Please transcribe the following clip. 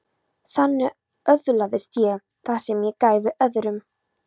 Þannig öðlaðist ég það sem ég gæfi öðrum.